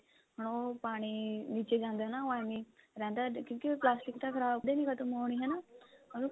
ਹੁਣ ਉਹ ਪਾਣੀ ਵਿੱਚ ਜਾਂਦਾ ਨਾ ਉਹ ਐਵੇਂ ਹੀ ਰਹਿੰਦਾ ਕਿਉਂਕਿ ਪਲਾਸਟਿਕ ਤਾਂ ਖ਼ਰਾਬ ਕਦੇ ਨੀ ਖਤਮ ਹੋਣੀ ਹਨਾ ਉਹਨੂੰ